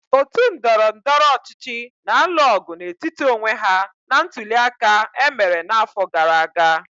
Otu ndọrọndọrọ ọchịchị na-alụ ọgụ n'etiti onwe ha na ntuli aka e mere n'afọ gara aga.